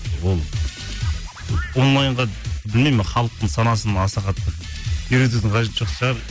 ол онлайнға білмеймін мен халықтың санасын аса қатты үйретудің қажеті жоқ шығар